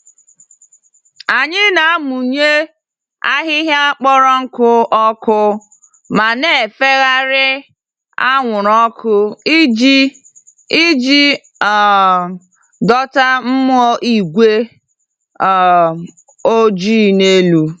Anyị na-amụnye ahịhịa kpọrọ nkụ ọkụ, ma na-efegharị anwụrụ ọkụ iji iji um dọta mmụọ igwe um ojii n'elu.